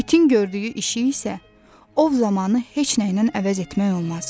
İtin gördüyü işi isə ov zamanı heç nəylə əvəz etmək olmaz.